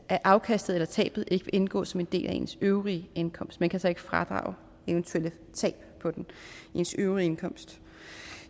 at afkastet eller tabet ikke vil indgå som en del af ens øvrige indkomst man kan så ikke fradrage eventuelle tab på den i ens øvrige indkomst